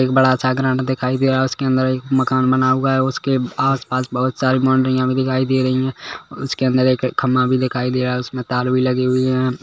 एक बड़ा सा ग्राउन्ड दिखाई दे रहा है उसके अंदर एक मकान बना हुआ है उसके आस पास बहुत सारे बॉउन्डरिया भी दिखाई दे रही है उसके अंदर एक खंबा भी दिखाई दे रहा है उसमे तार भी लगी हुई है।